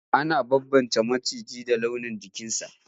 Ana bambance maciji da launin jikinsa.